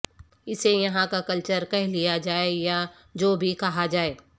اسے یہاں کا کلچر کہہ لیا جائے یا جو بھی کہا جائے